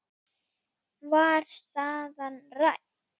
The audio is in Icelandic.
Var staðan rædd?